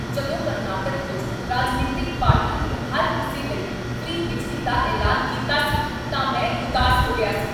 ਜਦੋਂ ਕਰਨਾਟਕ ਵਿੱਚ ਰਾਜਨੀਤਿਕ ਪਾਰਟੀ ਨੇ ਹਰ ਕਿਸੇ ਲਈ ਫ੍ਰੀ ਬਿਜਲੀ ਦਾ ਐਲਾਨ ਕੀਤਾ ਸੀ ਤਾਂ ਮੈਂ ਉਦਾਸ ਹੋ ਗਿਆ ਸੀ।